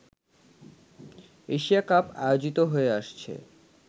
Asia cup আয়োজিত হয়ে আসছে